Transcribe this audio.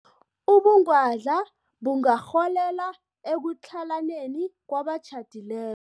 Ubungwadla bungarholela ekutlhalaneni kwabatjhadile